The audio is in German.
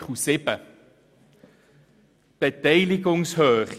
Das ist Artikel 7 zur Beteiligungshöhe.